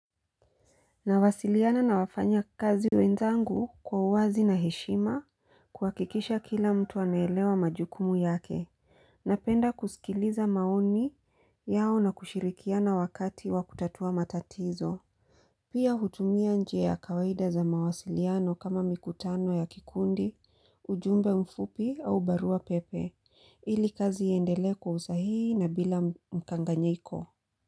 Nawasiliana nawafanya kazi wenzangu kwa uwazi na heshima kuhakikisha kila mtu anaelewa majukumu yake. Napenda kusikiliza maoni yao na kushirikiana wakati wa kutatua matatizo. Pia hutumia njia ya kawaida za mawasiliano kama mikutano ya kikundi, ujumbe mfupi au barua pepe. Ili kazi iendelee kwa usahihi na bila mkanganyiko.